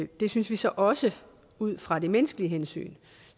det synes vi så også ud fra det menneskelige hensyn